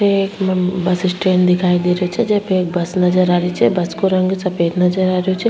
एक bus stand दिखाई दे रही छे जे पे एक बस नजर आ रही छे बस को रंग सफ़ेद नजर आ रियो छे।